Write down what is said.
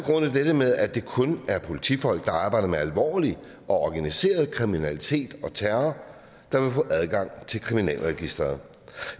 dette med at det kun er politifolk der arbejder med alvorlig og organiseret kriminalitet og terror der vil få adgang til kriminalregisteret